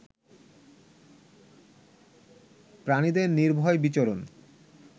প্রাণীদের নির্ভয় বিচরণ